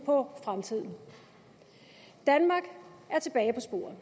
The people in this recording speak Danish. på fremtiden danmark er tilbage på sporet